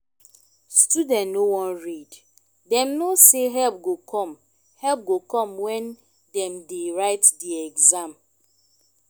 student no wan read dem know sey help go come help go come when dem dey write di exam